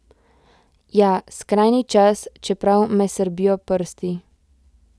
Ja, skrajni čas, čeprav me srbijo prsti.